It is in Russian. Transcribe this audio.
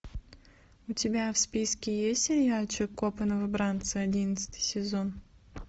у тебя в списке есть сериальчик копы новобранцы одиннадцатый сезон